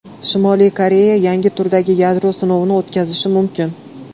Shimoliy Koreya yangi turdagi yadro sinovini o‘tkazishi mumkin.